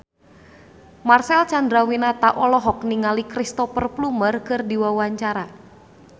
Marcel Chandrawinata olohok ningali Cristhoper Plumer keur diwawancara